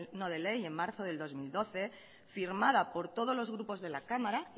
no de ley en marzo del dos mil doce firmada por todos los grupos de la cámara